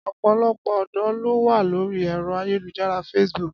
Ọ̀pọ̀lọpọ̀ ọ̀dọ́ ló wà lórí ẹ̀rọ ayélujára facebook